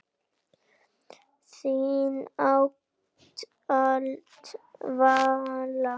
Þín ávallt, Vala.